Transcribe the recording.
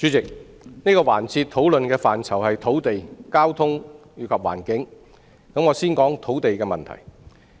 主席，這個環節討論的範疇是土地、交通及環境，我想先談土地問題。